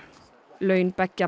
laun beggja